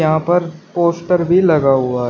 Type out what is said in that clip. यहां पर पोस्टर भी लगा हुआ--